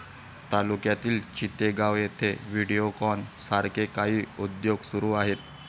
तालुक्यातील चितेगाव येथे व्हिडिओकॉन सारखे काही उद्योग सुरू आहेत